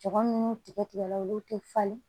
Jama minnu tigɛ la olu tɛ falen